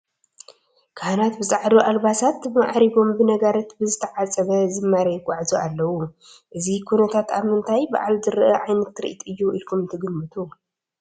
ካህናት ብፃዕዱ ኣልባሳት ማዕሪጎም ብነጋሪት ብዝተዓፀበ ዝማሬ ይጐዓዙ ኣለዉ፡፡ እዚ ኩነታት ኣብ ምንታይ በዓል ዝርአይ ዓይነት ትርኢት እዩ ኢልኩም ትግምቱ?